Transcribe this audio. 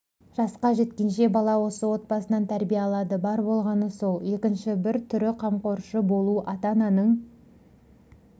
жасқа жеткенше бала осы отбасынан тәрбие алады бар болғаны сол екінші бір түріқамқоршы болу ата-ананың